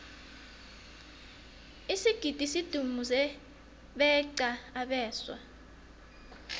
isigidi sidumuze beqa abeswa